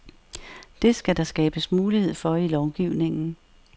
Det skal der skabes mulighed for i lovgivningen.